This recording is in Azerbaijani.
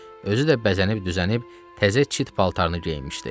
Özü də bəzənib-düzənib təzə çit paltarını geyinmişdi.